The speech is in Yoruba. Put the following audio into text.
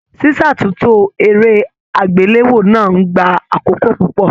Ṣíṣátúntò eré agbelewo náà n gbà àkókò púpọ.